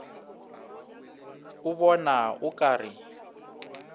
o bona o ka re